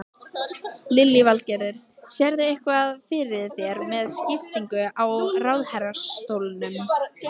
Lillý Valgerður: Sérðu eitthvað fyrir þér með skiptingu á ráðherrastólum?